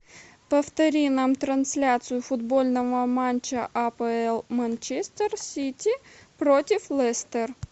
повтори нам трансляцию футбольного матча апл манчестер сити против лестер